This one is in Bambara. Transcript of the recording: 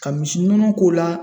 Ka misi nɔnɔ k'o la.